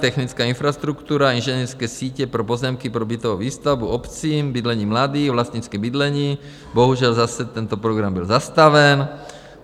Technická infrastruktura, inženýrské sítě pro pozemky, pro bytovou výstavbu obcím, bydlení mladým, vlastnické bydlení - bohužel, zase tento program byl zastaven.